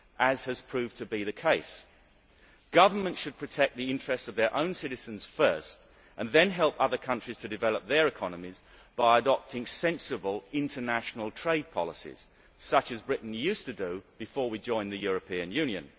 as has proved to be the case. Governments should protect the interests of their own citizens first and then help other countries to develop their economies by adopting sensible international trade policies, such as Britain used to do before we joined the European Union.